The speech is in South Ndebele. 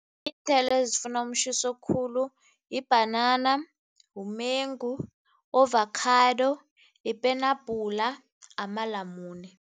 Iinthelo ezifuna umtjhiso khulu yibhanana, mumengu, ovakhado, yipenabhula, amalamune.